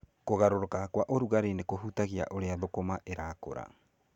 Kũgarũrũka kwa ũrugarĩ nĩ kũhutagia ũrĩa thũkũma ĩrakũra.